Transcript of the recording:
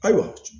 Ayiwa